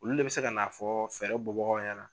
Olu le bɛ se ka na fɔ fɛɛrɛ bɔ bagaw ɲɛna